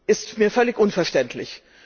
Das ist mir völlig unverständlich.